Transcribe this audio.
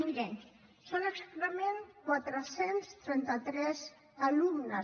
miri són exactament quatre cents i trenta tres alumnes